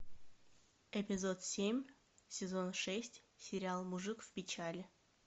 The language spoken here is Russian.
эпизод семь сезон шесть сериал мужик в печали